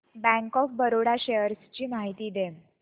bank of Baroda shares ची माहिती दे